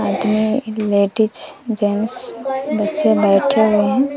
आदमी ladies gents बच्चे बैठे हुए हैं।